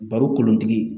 Baro kolotigi